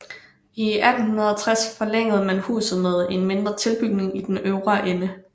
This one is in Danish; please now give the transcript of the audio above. I 1860 forlængede man huset med en mindre tilbygning i den øvre ende